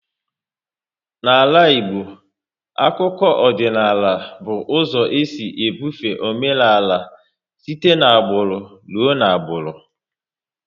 N'ala Igbo, akụkọ ọdịnala by ụzọ e si bufe omenaala site n'agbụrụ ruo n'agbụrụ